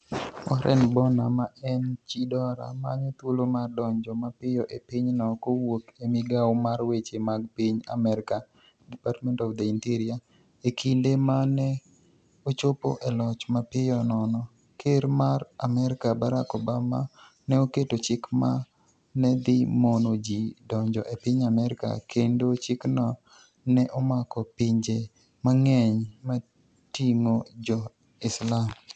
Wareni Bonia, ma eni chi Dora, maniyo thuolo mar donijo mapiyo e piny no kowuok e migawo mar weche mag piniy Amerka (Departmenit of the Initerior).E kinide ma ni e ochopo e loch, mapiyo nono, Ker mar Amerka, Barack Obama, ni e oketo chik ma ni e dhi mono ji donijo e piniy Amerka, kenido chikno ni e omako pinije manig'eniy motinig'o Jo-Islam.